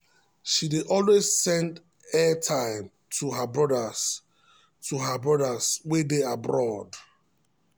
she dey always send airtime to her brothers to her brothers wey dey abroad.